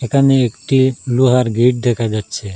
এখানে একটি লোহার গেট দেখা যাচ্ছে।